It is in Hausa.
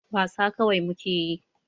Wasa kawai muke yi.